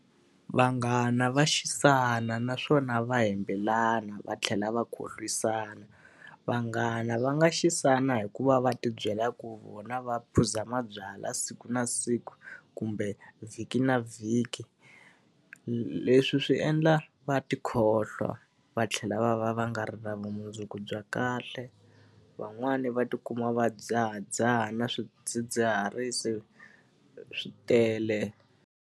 Vanghana va xisana naswona va hembelana va tlhela va khohlisana. Vanghana va nga xisana hi ku va va ti byela ku vona va phuza mabyalwa siku na siku kumbe vhiki na vhiki. Leswi swi endla va ti khohlwa va tlhela va va va nga ri na vumundzuku bya kahle, van'wani va tikuma va dzahadzaha na swidzidziharisi. Swi tele.